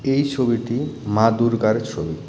এই ছবিটি মা দুর্গার ছবি।